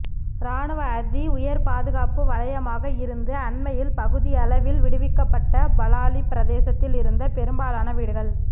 இராணுவ அதி உயர்பாதுகாப்பு வலையமாக இருந்து அண்மையில் பகுதியளவில் விடுவிக்கப்பட்ட பலாலி பிரதேசத்தில் இருந்த பெரும்பாலான வீடுகள்